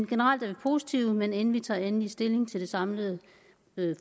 generelt er vi positive men inden vi tager endelig stilling til det samlede